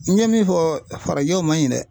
N ye min fɔ farajɛw man ɲi dɛ.